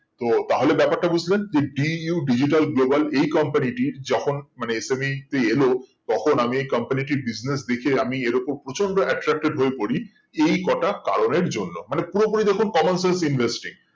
ও তাহলে ব্যাপারটা বুজলেন DU Digital Global এই company টির যখন মানে এলো তখন আমি এই company টির business দেখে আমি এইরকম প্রচন্ড attracted হয়ে পড়ি এই কটা কারণের জন্য মানে পুরো পুরি দেখুন common sense investing